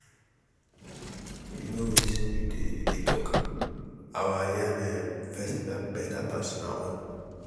you no wetin you dey you dey talk? our yam um festival beta pass una own.